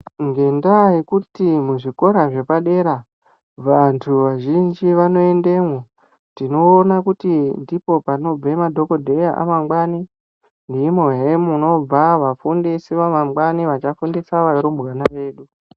Ngenda yekuti mu zvikora zvepa dera vantu vazhinji vano endemwo tinoona kuti ndipo panobva ma dhokodheya amangwani ndimo hee munobva vafundisi va mangwani vacha fundisa varumbwana vedu.